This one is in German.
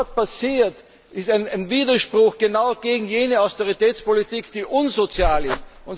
Was dort passiert ist ein Widerspruch genau gegen jene Austeritätspolitik, die unsozial ist.